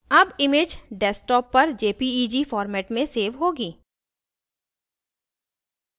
अब image desktop पर jpeg format में सेव होगी